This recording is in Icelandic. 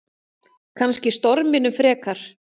Kannski storminum frekar.